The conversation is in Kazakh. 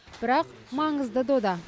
бірақ маңызды дода